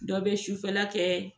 Dɔ bɛ sufɛla kɛ